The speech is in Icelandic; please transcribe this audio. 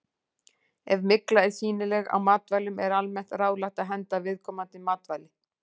Ef mygla er sýnileg á matvælum er almennt ráðlagt að henda viðkomandi matvæli.